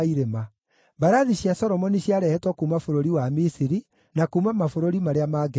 Mbarathi cia Solomoni ciarehetwo kuuma bũrũri wa Misiri, na kuuma mabũrũri marĩa mangĩ mothe.